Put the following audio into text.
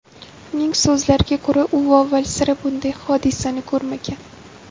Uning so‘zlariga ko‘ra, u avval sira bunday hodisani ko‘rmagan.